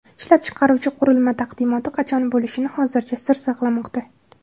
Ishlab chiqaruvchi qurilma taqdimoti qachon bo‘lishini hozircha sir saqlamoqda.